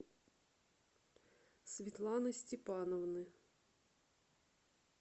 светланы степановны